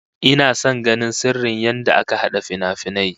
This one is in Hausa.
Ina son ganin sirrin yadda aka hada finafinai